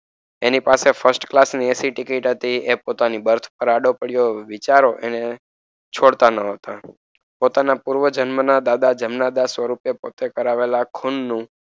એની પાસે first class ની ac ticket એ પોતાની બર્થ પર આડો પડ્યો વિચાર એણે છોડતા ન હતા. પોતાના પૂર્વ જન્મના દાદા જમનાદાસ સ્વરૂપે પોતે કરાવેલા ખૂનનું,